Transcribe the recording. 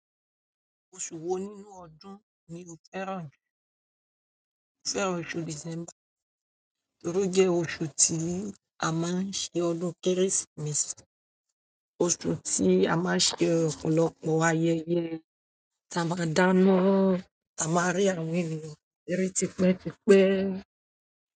Oṣù wo nínú ọdún ni o fẹ́ràn ju? Mo fẹ́ràn oṣù December torí o jẹ́ oṣù tí a máa ń ṣe ọdún kérésìmesì, oṣù tí a máa ń ṣe ọ̀pọ̀lọpọ̀ ayẹyẹ, tí a máa dáná, tí a máa rí àwọn ènìyàn rere tipẹ́ tipẹ́.